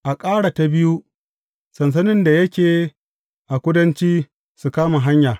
A kara ta biyu, sansanin da yake a kudanci, su kama hanya.